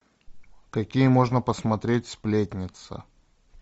какие можно посмотреть сплетница